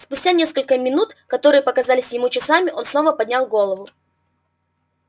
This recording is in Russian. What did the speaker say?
спустя несколько минух которые показались ему часами он снова поднял голову